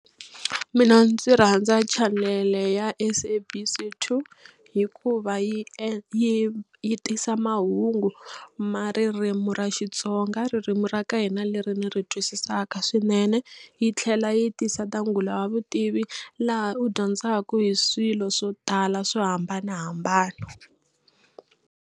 Mina ndzi rhandza chanele ya SABC 2 hikuva yi yi yi tisa mahungu ma ririmi ra Xitsonga ririmi ra ka hina leri ni ri twisisaka swinene. Yi tlhela yi tisa ta Ngula wa vutivi laha u dyondzaka hi swilo swo tala swo hambanahambana.